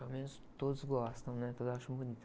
Pelo menos todos gostam, né? Todos acham bonito.